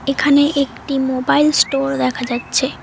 এখানে একটি mobile store দেখা যাচ্ছে।